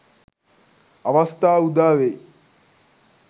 අවස්‌ථා උදා වෙයි.